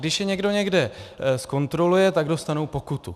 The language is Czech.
Když je někdo někde zkontroluje, tak dostanou pokutu.